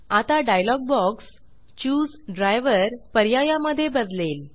आता dialog box choose driver choose driver पर्याया मध्ये बदलेल